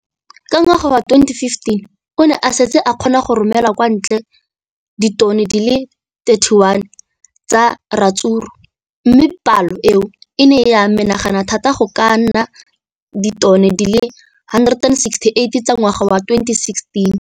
Ka ngwaga wa 2015, o ne a setse a kgona go romela kwa ntle ditone di le 31 tsa ratsuru mme palo eno e ne ya menagana thata go ka nna ditone di le 168 ka ngwaga wa 2016.